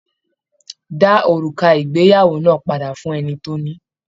Dá òrùka ìgbéyàwó náà padà fún ẹni tó ní!